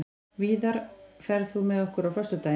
Víðar, ferð þú með okkur á föstudaginn?